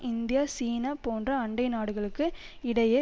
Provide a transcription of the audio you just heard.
India சீனா போன்ற அண்டை நாடுகளுக்கு இடையே